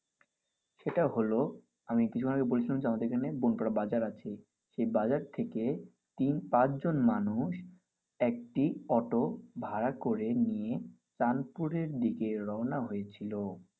সেটা হলো আমি কিছুক্ষন আগে বলেছিলাম আমাদের এখানে বনপাড়া বাজার আছে সেই বাজার থেকে তিন পাঁচ জন মানুষ একটি অটো ভাড়া করে নিয়ে তানপুরের দিক রওনা হয়েছিল।